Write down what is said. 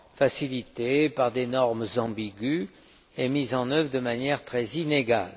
facilités par des normes ambiguës et mises en œuvre de manière très inégale.